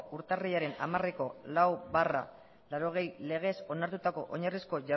urtarrilaren hamareko lau barra laurogei legez onartutako oinarrizko